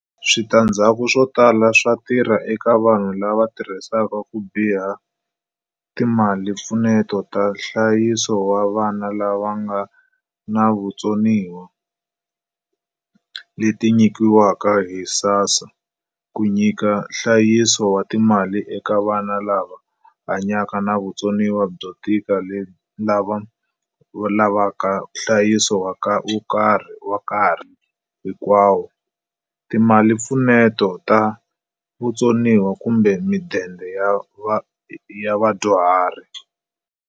Switandzhaku swo tala swa tirha eka vanhu lava tirhisaka ku biha timalimpfuneto ta nhlayiso wa vana lava va nga na vutsoniwa - leti nyikiwaka hi SASSA ku nyika nhlayiso wa timali eka vana lava hanyaka na vutsoniwa byo tika lava lavaka nhlayiso wa nkarhi hinkwawo, timalimpfuneto ta vatsoniwa kumbe midende ya vadyuhari.